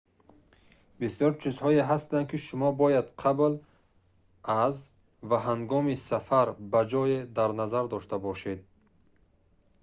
бисёр чизҳое ҳастанд ки шумо бояд қабл аз ва ҳангоми сафар ба ҷое дар назар дошта бошед